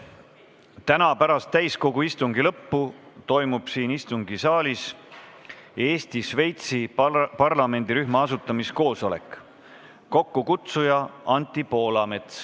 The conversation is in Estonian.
Täna pärast täiskogu istungi lõppu toimub siin istungisaalis Eesti-Šveitsi parlamendirühma asutamiskoosolek, mille kokkukutsuja on Anti Poolamets.